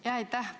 Aitäh!